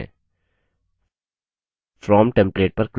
from template पर click करें